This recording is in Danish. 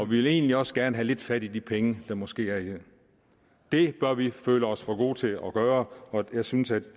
vil egentlig også gerne have lidt fat i de penge der måske er i det det bør vi føle os for gode til at gøre og jeg synes at det